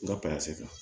N ka kan